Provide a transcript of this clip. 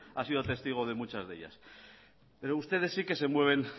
ha sido testigo de muchas de ellas pero ustedes sí que se mueven